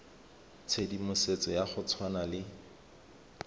tshedimosetso ya go tshwana le